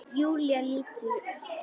Júlía lítur upp.